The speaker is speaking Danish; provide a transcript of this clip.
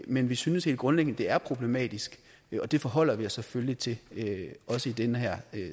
men vi synes helt grundlæggende at det er problematisk og det forholder vi os selvfølgelig til også i den her